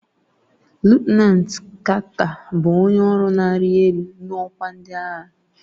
Lutenanti Carter bụ onye ọrụ na-arị elu n'ọkwa ndị agha.